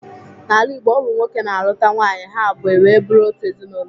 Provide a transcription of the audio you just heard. N'ala Igbo, ọ bụ nwoke na-alụta nwaanyị ha abụọ e wee bụrụ otu ezinaụlọ.